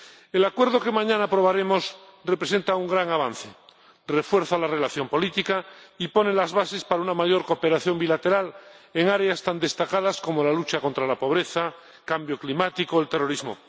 El Acuerdo que mañana aprobaremos representa un gran avance refuerza la relación política y pone las bases para una mayor cooperación bilateral en áreas tan destacadas como la lucha contra la pobreza, el cambio climático o el terrorismo.